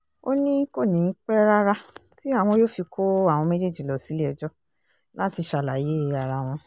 ó ní kò ní í pẹ́ rárá tí àwọn yóò fi kó àwọn méjèèjì lọ sílé-ẹjọ́ láti ṣàlàyé ara wọn